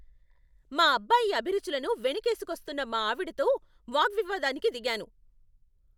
మా అబ్బాయి అభిరుచులను వెనకేసుకొస్తున్న మా ఆవిడతో వాగ్వివాదానికి దిగాను.